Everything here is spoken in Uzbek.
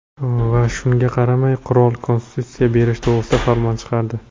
Va shunga qaramay qirol konstitutsiya berish to‘g‘risida farmon chiqardi.